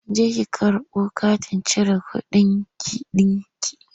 Jeki ki karbo katin cire kuɗinki ɗinki!